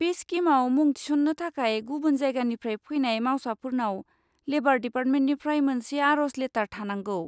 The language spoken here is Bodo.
बे स्किमआव मुं थिसन्नो थाखाय गुबुन जायगानिफ्राय फैनाय मावसाफोरनाव लेबार डिपार्टमेन्टनिफ्राय मोनसे आर'ज लेटार थानांगौ।